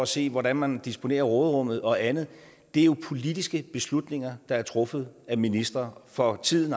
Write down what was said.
se hvordan man disponerer råderummet og andet er jo politiske beslutninger der er truffet af ministre for tiden